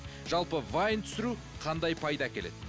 жалпы вайн түсіру қандай пайда әкеледі